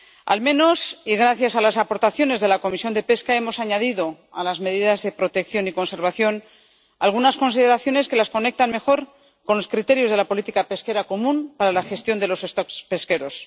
Al menos, y gracias a las aportaciones de la Comisión de Pesca, hemos añadido a las medidas de protección y conservación algunas consideraciones que las conectan mejor con los criterios de la política pesquera común para la gestión de los stocks pesqueros.